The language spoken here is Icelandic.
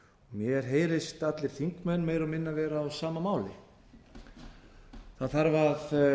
mér heyrist allir þingmenn meira og minna vera á sama máli það þarf að